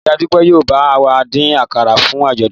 Ìyá Dúpẹ́ yóò bá wa dín àkàrà fún àjọ̀dún wa